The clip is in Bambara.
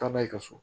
Taa n'a ye ka so